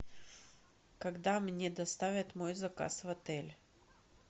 когда мне доставят мой заказ в отель